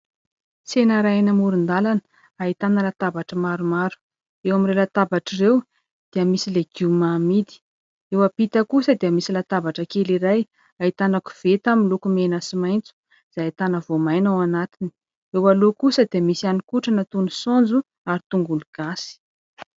Tsena iray eny amoron-dalana ahitana latabatra maromaro. Eo amin'ireo latabatra ireo dia misy legioma amidy. Eo ampita kosa dia misy latabatra kely iray ahitana koveta miloko mena sy maintso izay ahitana voamaina ao anatiny. Eo aloha kosa dia misy hanin-kotrana toy ny saonjo ary tongolo gasy.